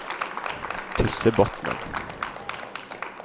Tyssebotnen